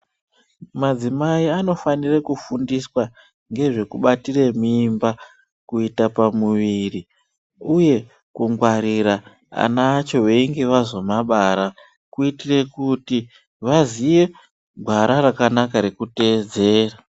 Madzimai anofanire kufundiswa ngezvekubatire mimba, kuita pamuviri ,uye kungwarira ana acho veinge vazomabara, kuitire kuti vaziye ,gwara rakanaka rekuteedzera.